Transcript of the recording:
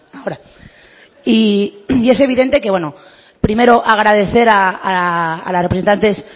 ahora y es evidente que bueno primero agradecer a las representantes